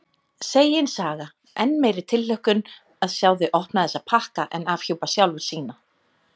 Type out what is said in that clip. Segin saga: enn meiri tilhlökkun að sjá þau opna þessa pakka en afhjúpa sjálfur sína.